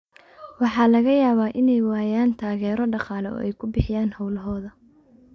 Waxa laga yaabaa inay waayaan taageero dhaqaale oo ay ku bixiyaan hawlahooda.